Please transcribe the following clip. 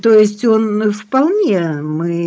то есть он вполне мы